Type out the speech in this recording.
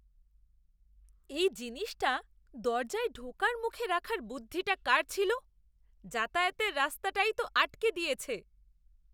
এই জিনিসটা দরজায় ঢোকার মুখে রাখার বুদ্ধিটা কার ছিল? যাতায়াতের রাস্তাটাই তো আটকে দিয়েছে।